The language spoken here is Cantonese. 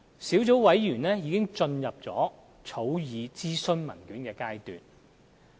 小組委員會現時已進入草擬諮詢文件的階段。